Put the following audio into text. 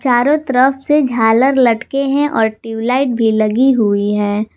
चारों तरफ से झालर लटके हैं और ट्यूबलाइट भी लगी हुई है।